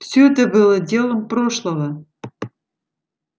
всё это было делом прошлого